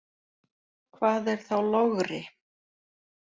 Hvað er þá logri?